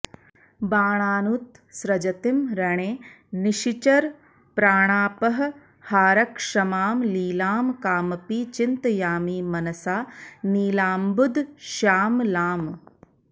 बाणानुत्सृजतीं रणे निशिचरप्राणापहारक्षमां लीलां कामपि चिन्तयामि मनसा नीलाम्बुदश्यामलाम्